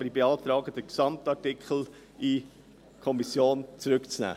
Aber ich beantrage, den ganzen Artikel in die Kommission zurückzunehmen.